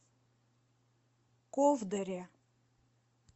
ковдоре